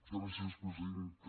gràcies presidenta